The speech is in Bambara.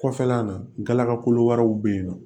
Kɔfɛla na gala kolo wɛrɛw bɛ yen nɔ